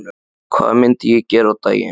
Hvað myndi ég gera á daginn?